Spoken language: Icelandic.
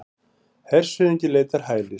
Hershöfðingi leitar hælis